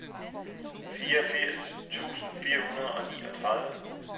fireogfirs tusind fire hundrede og niogtredive